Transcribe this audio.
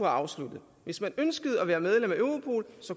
afsluttet hvis man ønskede at være medlem af europol